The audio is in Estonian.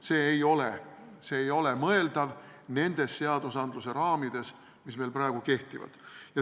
See ei ole mõeldav nendes seaduseraamides, mis meil praegu kehtivad.